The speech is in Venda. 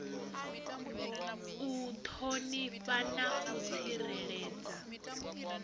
u ṱhonifha na u tsireledza